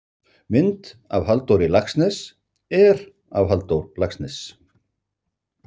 Mynd af Halldóri Laxness er af Halldór Laxness.